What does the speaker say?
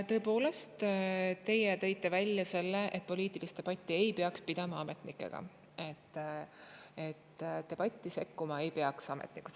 Tõepoolest, teie tõite välja, et poliitilist debatti ei peaks pidama ametnikega, et ametnikud ei peaks debatti sekkuma.